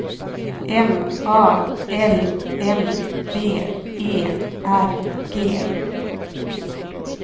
M A L M B E R G